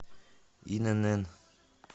инн